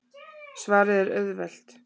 Svarið er auðvelt.